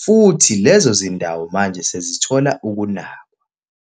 futhi lezo zindawo manje sezithola ukunakwa.